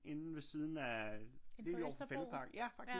Inde ved siden af lige overfor Fælledparken